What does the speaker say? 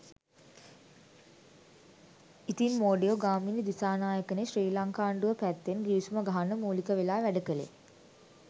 ඉතින් මෝඩයෝ ගාමිණී දිසානායකනේ ශ්‍රී ලංකාන්ඩුව පැත්තෙන් ගිවිසුම ගහන්න මූලික වෙලා වැඩ කලේ.